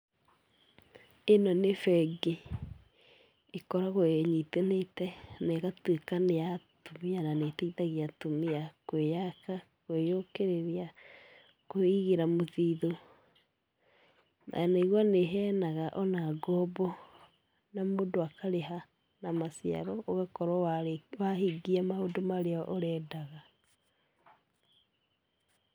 Ĩno nĩ bengi, ĩkoragwo ĩnyitanĩte na ĩgatuĩka nĩ ya atumia na nĩĩteithagia atumia kwĩyaka, kwĩyũkĩrĩria, kũĩigĩra mũthithũ. Ndanaigua nĩĩheyanaga ona ngombo na mũndũ akarĩha na maciaro, ũgakorwo wahingia maũndũ marĩa ũrendaga.